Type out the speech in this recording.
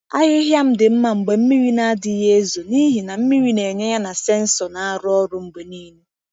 Ahịhịa m dị mma mgbe mmiri na-adịghị ezo n’ihi na mmiri na-enye ya na sensọ na-arụ ọrụ mgbe niile.